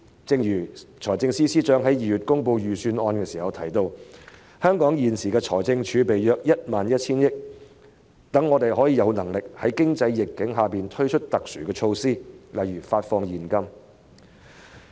正如財政司司長在2月公布預算案時提到："香港現時的財政儲備約 11,000 億元，讓我們有能力在經濟逆境下推出特殊措施，例如發放現金。